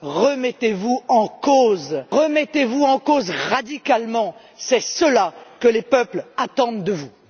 Remettez vous en cause, remettez vous en cause radicalement, c'est cela que les peuples attendent de vous!